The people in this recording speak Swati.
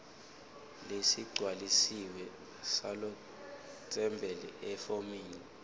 lesigcwalisiwe salotsembele efomini